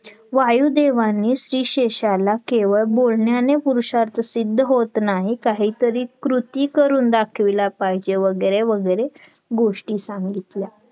वायुदेवानी श्लीशेषाला केवळ बोलण्याने पुरुषार्थ सिद्ध होत नाही काहीतरी कृती करून दाखविला पाहिजेत वगैरे वगैरे गोष्टी सांगितल्या